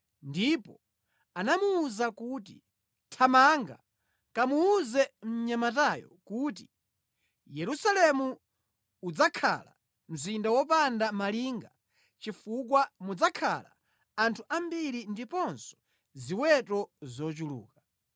ndipo anamuwuza kuti, “Thamanga, kamuwuze mnyamatayo kuti, ‘Yerusalemu udzakhala mzinda wopanda malinga chifukwa mudzakhala anthu ambiri ndiponso ziweto zochuluka.